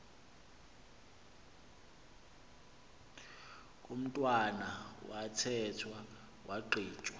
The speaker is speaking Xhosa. komntwana wathethwa wagqitywa